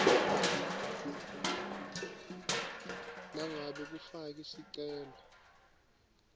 nangabe ufake sicelo